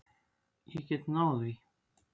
Ég get náð því.